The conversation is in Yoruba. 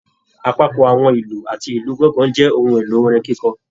Apapọ àwọn ìlú àti ìlú gangan jẹ ohùn èlò orin kikọ.